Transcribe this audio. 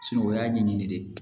o y'a ɲɛɲini de ye